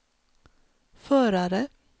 förare